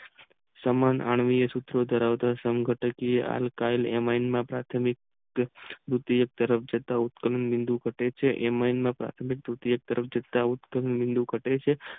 સમાન અનીય સૂત્રો ધરાવતા અલકાય ઉચ્ચ ધરાવતા બિદું વધે છે પાર્થીમિક ઉચ્ચ બિદું ધેટ છે